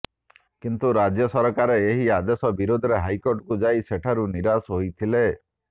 କିନ୍ତୁ ରାଜ୍ୟ ସରକାର ଏହି ଆଦେଶ ବିରୋଧରେ ହାଇକୋର୍ଟକୁ ଯାଇ ସେଠାରୁ ନିରାଶ ହୋଇଥିଲେ